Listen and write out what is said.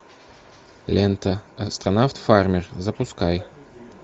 лента астронавт фармер запускай